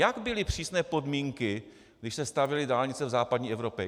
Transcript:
Jak byly přísné podmínky, když se stavěly dálnice v západní Evropě?